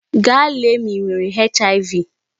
Gaa lèlè ma I nwere HIV.